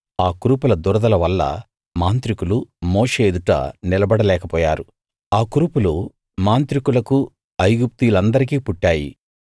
ఆ కురుపుల దురదల వల్ల మాంత్రికులు మోషే ఎదుట నిలబడలేకపోయారు ఆ కురుపులు మాంత్రికులకు ఐగుప్తీయులందరికీ పుట్టాయి